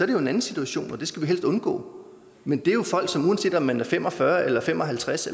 det jo en anden situation og den skal vi helst undgå men det er folk som uanset om de er fem og fyrre eller fem og halvtreds